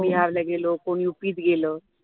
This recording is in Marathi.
बिहार ला गेलं कोणी युपी ला गेलं